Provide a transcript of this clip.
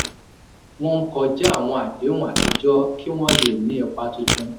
wọ́n ń kọja àwọn àdéhùn atijọ́ kí wọ́n lè ní ipa tuntun.